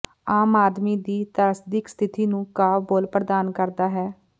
ਆਮ ਆਦਮੀ ਦੀ ਤ੍ਰਾਸਦਿਕ ਸਥਿਤੀ ਨੂੰ ਕਾਵਿ ਬੋਲ ਪ੍ਰਦਾਨ ਕਰਦਾ ਹੈ